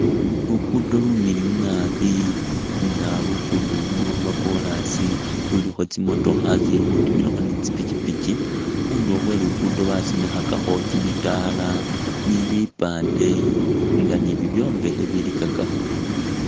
Luguudo lumiliyu naabi nga luguudo luno lwa kolasi lulikho tsimotokha itsiili khutimilakho ni tsipipiki, khundulo khwe Luguudo basimikhakakho kimisaala ni bipande nga ni bibyombekhe bilikakakho.